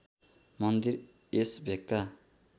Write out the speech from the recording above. मन्दिर यस भेगका